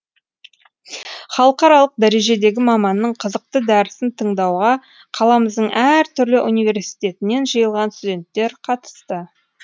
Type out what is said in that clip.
халықаралық дәрежедегі маманның қызықты дәрісін тыңдауға қаламыздың әр түрлі университетінен жиылған студенттер қатысты